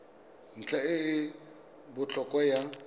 ntlha e e botlhokwa ya